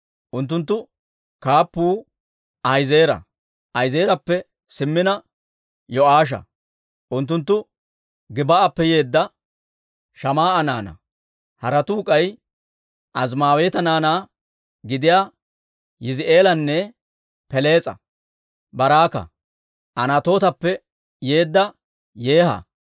Unttunttu kaappuu Ahi'eezera; Ahi'eezerappe simmina Yo'aasha; unttunttu Gib"appe yeedda Shamaa'a naanaa. Haratuu k'ay Azimaaweeta naanaa gidiyaa Yizi'eelanne Pelees'a, Baraaka, Anatootappe yeedda Yeeha,